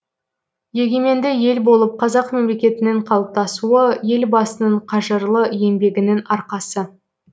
егеменді ел болып қазақ мемлекетінің қалыптасуы елбасының қажырлы еңбегінің арқасы